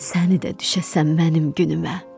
səni də düşəsən mənim günüme.